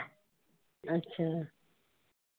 ਅੱਛਾ।